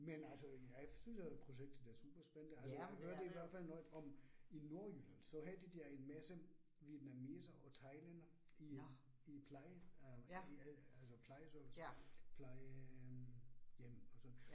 Men altså, jeg synes at projektet er super spændende, altså jeg hørte i hvert fald noget om i Nordjylland, så havde de der en masse vietnamesere og thailændere i i pleje øh altså plejeservice, plejehjem og sådan